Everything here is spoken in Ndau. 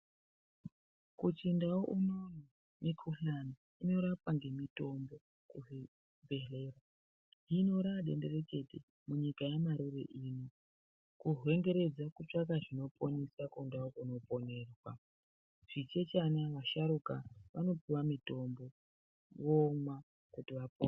Kuchindau unono ,mikhuhlani inorapwa ngemitombo yekuzvibhedhleya .Hino raadendereke munyika yamarure ino, kuhwengeredze kutsvaka zvinoponesa kundau kunoponeswa. Zvichechana, vasharuka, vanopiwa mutombo, vomwa kuti vapone.